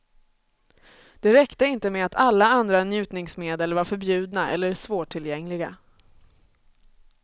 Det räckte inte med att alla andra njutningsmedel var förbjudna eller svårtillgängliga.